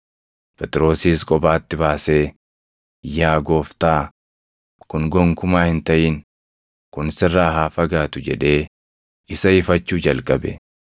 Phexrosis kophaatti baasee, “Yaa Gooftaa, kun gonkumaa hin taʼin! Kun sirraa haa fagaatu!” jedhee isa ifachuu jalqabe.